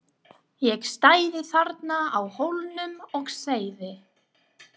Ég stæði þarna á Hólnum og segði: